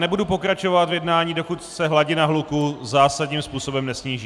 Nebudu pokračovat v jednání, dokud se hladina hluku zásadním způsobem nesníží.